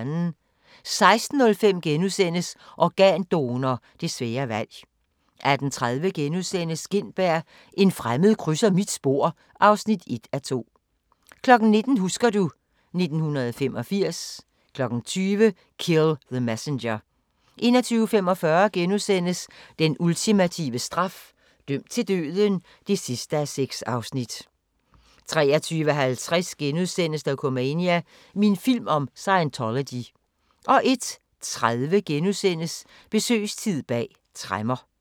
16:05: Organdonor – det svære valg * 18:30: Gintberg – en fremmed krydser mit spor (1:2)* 19:00: Husker du ... 1985 20:00: Kill the Messenger 21:45: Den ultimative straf – dømt til døden (6:6)* 23:50: Dokumania: Min film om Scientology * 01:30: Besøgstid bag tremmer *